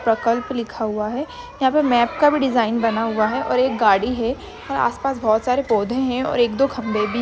प्रकल्प लिखा हुआ है यहाँ पे मैप का भी डिज़ाइन बना हुआ है और एक गाड़ी है और आसपास बहुत सारे पौधे है और एक-दो खम्बे भी--